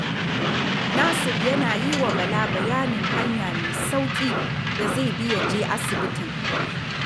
Nasir yana yi wa Bala bayanin hanya mai sauƙi da zai bi ya je asibitin